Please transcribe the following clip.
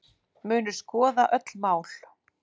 Munu skoða öll mál